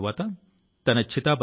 Vande Mataram